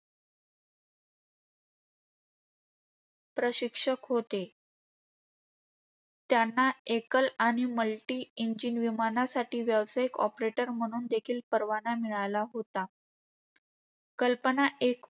प्रशिक्षक होते. त्यांना एकल आणि multi engine विमानासाठी व्यावसायिक operator म्हणून देखील परवाना मिळाला होता. कल्पना एक